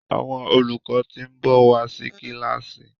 Àwọn olùkọ tin nbọ wá sí kilasi